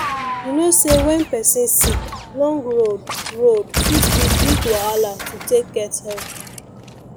you know say when person sick long road road fit be big wahala to take get help